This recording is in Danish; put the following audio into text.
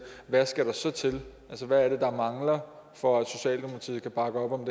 hvad skal der så til altså hvad er det der mangler for at socialdemokratiet kan bakke op om